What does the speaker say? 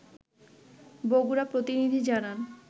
বগুড়া প্রতিনিধি জানান